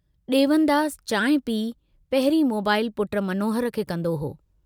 डेवनदास चांहि पी पहिरीं मोबाईल पुट मनोहर खे कन्दो हो।